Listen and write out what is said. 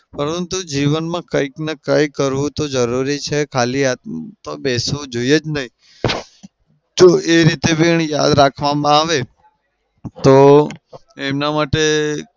પરતું જીવનમાં કંઈકના કંઈ તો કરવું તો જરૂરી છે. ખાલી આમતો બેસવું જોઈએ જ નહિ. જો એ રીતે બી યાદ રાખવામાં આવે તો એના માટે